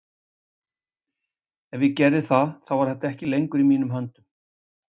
Ef ég gerði það þá var þetta ekki lengur í mínum höndum.